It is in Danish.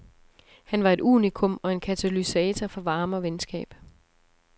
Han var et unikum, og en katalysator for varme og venskab.